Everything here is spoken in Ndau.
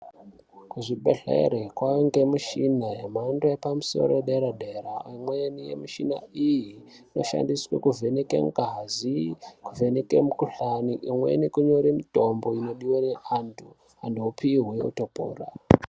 Kuzvibhehleri kwaangemichina yemhando yepamusoro yedera-dera. Imweni yemichina iyi inoshandiwe kuvheneke ngazi, kuvheneke mikuhlani, imweni kunyore mitombo inodiwe neantu, antu opihwe, otopora.